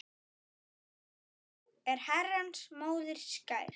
Frú er Herrans móðir skær.